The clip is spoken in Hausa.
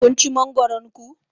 Kun ci mangoron ku?